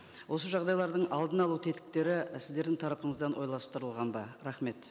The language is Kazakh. осы жағдайлардың алдын алу тетіктері сіздердің тарапыңыздан ойластырылған ба рахмет